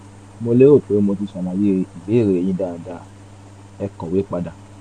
mo lérò pé mo ti ṣàlàyé ìbéèrè yín dáadáa ẹ kọ̀wé padà